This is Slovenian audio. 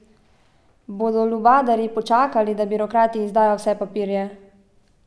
Bodo lubadarji počakali, da birokrati izdajo vse papirje?